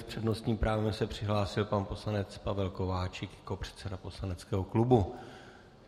S přednostním právem se přihlásil pan poslanec Pavel Kováčik jako předseda poslaneckého klubu.